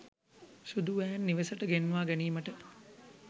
සුදු වෑන් නිවසට ගෙන්වා ගැනීමට